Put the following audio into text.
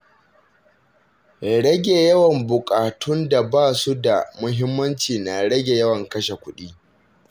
Rage yawan buƙatun da ba su da muhimmanci na rage yawan kashe kuɗi.